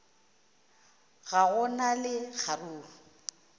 ga go na le kgaruru